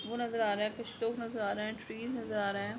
वो नजर आ रहा है कुछ लोग नजर आ रहे है ट्री नजर आ रहे है।